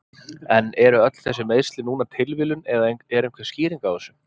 En eru öll þessi meiðsli núna tilviljun eða er einhver skýring á þessu?